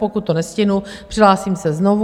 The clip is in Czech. Pokud to nestihnu, přihlásím se znovu.